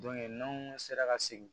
n'anw sera ka segin